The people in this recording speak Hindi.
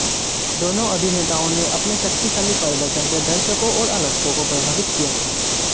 दोनों अभिनेताओं ने अपने शक्तिशाली प्रदर्शन से दर्शकों और आलोचकों को प्रभावित किया था